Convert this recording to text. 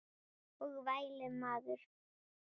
Og vælið maður.